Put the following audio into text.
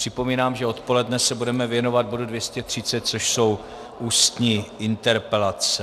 Připomínám, že odpoledne se budeme věnovat bodu 230, což jsou ústní interpelace.